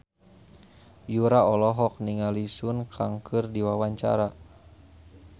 Yura olohok ningali Sun Kang keur diwawancara